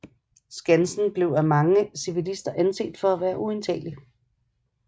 Skansen blev af mange civilister anset for at være uindtagelig